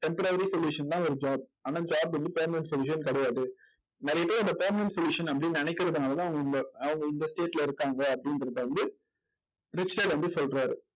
temporary solution தான் ஒரு job ஆனா job வந்து permanent solution கிடையாது நிறைய பேர் இந்த permanent solution அப்படின்னு நினைக்கறதுனால தான் இந்த அவங்க இந்த state ல வந்து இருக்காங்க அப்படின்றத வந்து வந்து சொல்றாரு